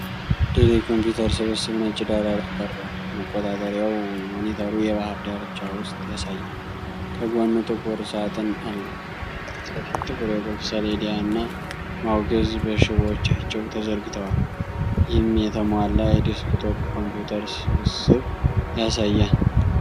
ዴል የኮምፒውተር ስብስብ ነጭ ዳራ ላይ ቀርቧል። መቆጣጠሪያው (ሞኒተሩ) የባህር ዳርቻ ምስል ያሳያል፤ ከጎኑ ጥቁር ሳጥን አለው። ከፊት ለፊት ጥቁር የቁልፍ ሰሌዳ እና ማውዝ በሽቦዎቻቸው ተዘርግተዋል። ይህም የተሟላ የዴስክቶፕ ኮምፒውተር ስብስብ ያሳያል።